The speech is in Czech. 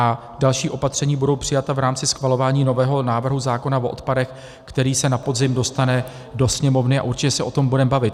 A další opatření budou přijata v rámci schvalování nového návrhu zákona o odpadech, který se na podzim dostane do Sněmovny, a určitě se o tom budeme bavit.